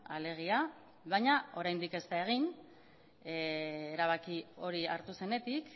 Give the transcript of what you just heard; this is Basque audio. alegia baina oraindik ez da egin erabaki hori hartu zenetik